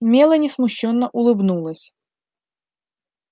мелани смущённо улыбнулась